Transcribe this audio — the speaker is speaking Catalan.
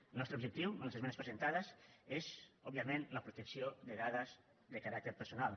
el nostre objectiu amb les esmenes presentades és òbviament la protecció de dades de caràcter personal